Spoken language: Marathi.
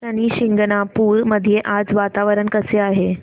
शनी शिंगणापूर मध्ये आज वातावरण कसे आहे